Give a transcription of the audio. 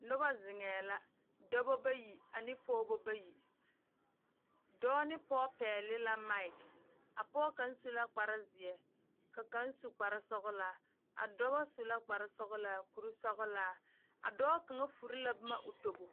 Noba zeŋ la dɔɔba bayi ane pɔgeba bayi dɔɔ ne pɔge pegle la makyi kaŋ su la kpare ziɛ ka kaŋa su kpare sɔglaa a dɔɔba su la kpare sɔglaa kuri sɔglaa dɔɔ kaŋa ture boma o tobo.